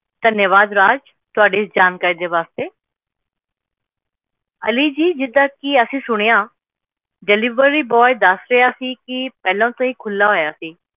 ਧੰਨਵਾਦ ਰਾਜ ਤੁਹਾਡੀ ਇਸ ਜਾਣਕਾਰੀ ਦੇ ਵਾਸਤੇ ਅਲੀ ਜੀ ਜਿਵੇਂ ਕੀ ਅਸੀ ਸੁਣਿਆ deliveryboy ਦੱਸ ਰਿਹਾ ਸੀ ਕਿ parcel ਪਹਿਲਾਂ ਤੋਂ ਹੀ ਖੁੱਲਿਆ ਹੋਇਆ ਸੀ